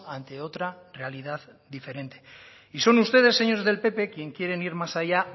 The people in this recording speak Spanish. ante otra realidad diferente y son ustedes señores del pp quienes quieren ir más allá